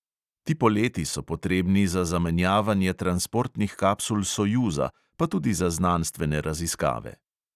Ti poleti so potrebni za zamenjavanje transportnih kapsul sojuza, pa tudi za znanstvene raziskave.